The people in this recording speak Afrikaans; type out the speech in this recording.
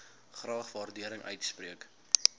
graag waardering uitspreek